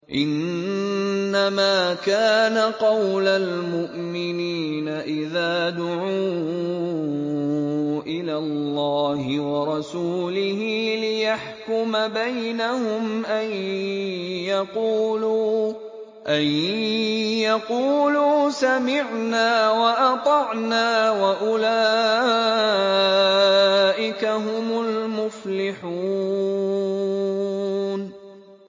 إِنَّمَا كَانَ قَوْلَ الْمُؤْمِنِينَ إِذَا دُعُوا إِلَى اللَّهِ وَرَسُولِهِ لِيَحْكُمَ بَيْنَهُمْ أَن يَقُولُوا سَمِعْنَا وَأَطَعْنَا ۚ وَأُولَٰئِكَ هُمُ الْمُفْلِحُونَ